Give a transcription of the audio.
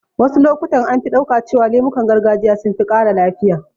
Wasu lokutan an fi ɗauka cewa lemukan gargajiya sun fi ƙara lafiya